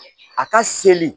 A ka seli